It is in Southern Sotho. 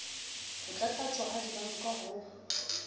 ho tlatlaptjwa ha dibanka ho